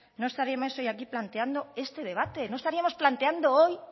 no estaríamos hoy aquí planteando este debate no estaríamos planteando hoy